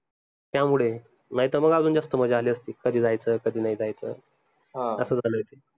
त्यामुडे नाई त मग अजून जास्त मजा आली असती कधी जायचं कधी नाई जायचं झालाय ते